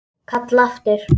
Kalla aftur.